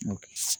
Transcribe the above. O kɛ